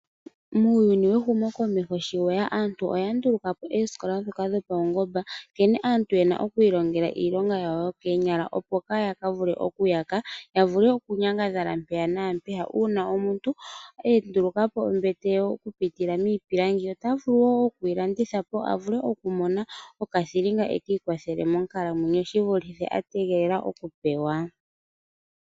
Muuyuni wehumokomeho sho lye ya, aantu oya nduluka po oosikola ndhoka dhopaungomba nkene aantu ye na oku ilongela iilonga yawo yokoonyala, opo yaa ka yake, ihe ya vule okunyangadhala mpaka naampeyaka. Uuna omuntu a nduluka po ombete ye okupitila miipilangi ota vulu wo okuyi landitha po a vule okumona okathilinga, a vule oku ikwathela monkalamwenyo shi vulithe okupewa.